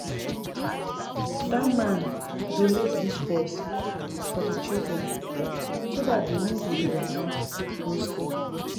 Dat man donate dis bus for the children so dat dey no go dey waka go school